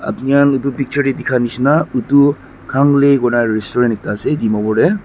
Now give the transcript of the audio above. apni khan edu picture tae dikhinishina edu khan li koina restaurant ekta ase dimapur tae.